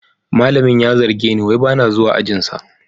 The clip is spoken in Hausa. Malamin ya zarge ni wai ba na zuwa ajinsa